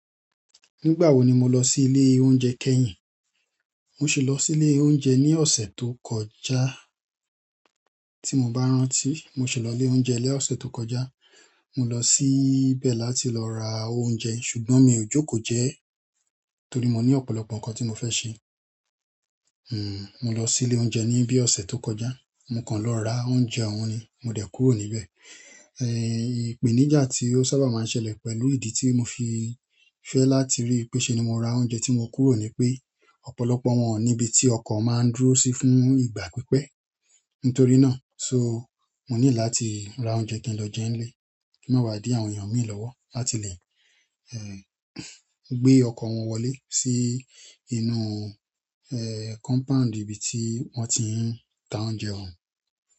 Nígbà wo ni mo lọ sí ilé oúnjẹ kẹ́yìn? Mo sì lọ sí ilé oúnjẹ ní ọ̀sẹ̀ tó kọjá. Tí mo bá rántí, mo sì lọ ilé oúnjẹ ní ọ̀sẹ̀ tó kọjá. Mo lọ síbẹ̀ láti lọ ra oúnjẹ, ṣùgbọ́n mi ò jókòó jẹ ẹ́ torí mo ní ọ̀pọ̀lọpọ̀ nǹkan tí mo fẹ́ ṣe. Hmm, mo lọ sí ilé oúnjẹ ní bí ọ̀sẹ̀ tó kọjá. Mo kan lọ ra oúnjẹ oun ni mo dẹ̀ kúrò níbẹ̀ ipeníjà tí ó sábà máa ń ṣẹlẹ̀ pẹ̀lú ìdí tí mo fi fẹ́ láti rí pé ṣe ni mo ra oúnjẹ tí mo kúrò ni pé ọ̀pọ̀lọpọ̀ wọn, onibi tí ọkọ̀ máa ń dúró sí fún ìgbà pípẹ́. Nítorí náà, so mo nílò láti ra oúnjẹ kí n lọ jẹ́ nílé kí mó má ba di àwọn èèyàn mí lọ́wọ́ láti lè gbé ọkọ̀ wọn wọlé sí inú, eh, compound ibi tí wọ́n ti ń ta oúnjẹ wọn.